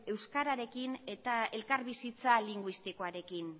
euskararekin eta elkarbizitza linguistikoarekin